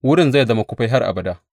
Wurin zai zama kufai har abada.’